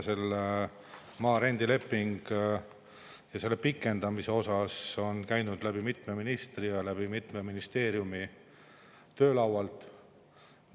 Selle maa rendileping ja selle pikendamine on käinud läbi mitme ministri ja mitme ministeeriumi töölaualt.